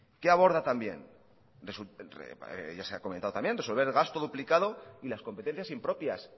qué aborda también ya se ha comentado también resolver el gasto duplicado y las competencias impropias